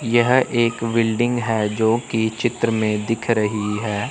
यह एक बिल्डिंग है जो कि चित्र में दिख रही है।